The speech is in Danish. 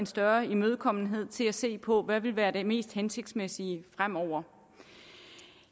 større imødekommenhed til at se på hvad der vil være det mest hensigtsmæssige fremover